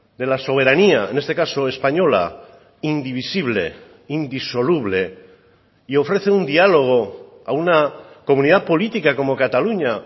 de la soberanía en este caso española indivisible indisoluble y ofrece un diálogo a una comunidad política como cataluña